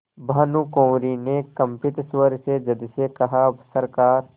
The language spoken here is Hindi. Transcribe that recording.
भानुकुँवरि ने कंपित स्वर में जज से कहासरकार